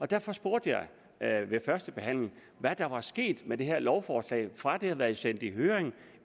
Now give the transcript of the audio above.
derfor spurgte jeg ved førstebehandlingen hvad der var sket med det her lovforslag fra det blev sendt i høring